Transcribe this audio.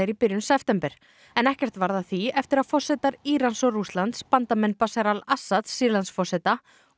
í byrjun september en ekkert varð af því eftir að forsetar Írans og Rússlands bandamenn Bashar al Assads Sýrlandsforseta og